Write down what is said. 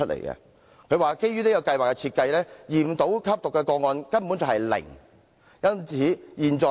他認為基於這項計劃的設計，驗到吸毒個案的可能性根本是"零"。